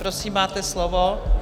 Prosím, máte slovo.